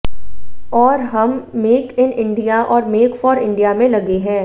और हम make in India और मेक फॉर इंडिया में लगे हैं